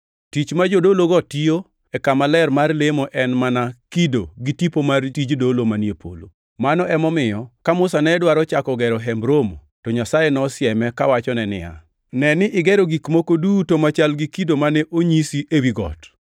Tich ma jodologo tiyo e kama ler mar lemo en mana kido gi tipo mar tij dolo manie polo. Mano emomiyo ka Musa ne dwaro chako gero Hemb Romo to Nyasaye nosieme kawachone niya, “Ne ni igero gik moko duto machal gi kido mane onyisi ewi got.” + 8:5 \+xt Wuo 25:40\+xt*